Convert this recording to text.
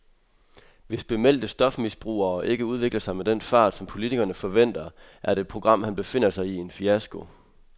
Hvis bemeldte stofmisbrugere ikke udvikler sig med den fart, som politikerne forventer, er det program, han befinder sig i, en fiasko.